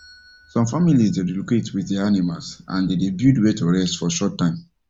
some families dey relocate with there animals and them dey build where to rest for short time